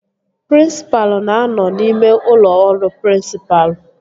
Prịnsịpalụ na-anọ n'ime ụlọ ọrụ prịnsịpalụ